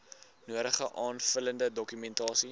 nodige aanvullende dokumentasie